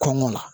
Kɔngɔ na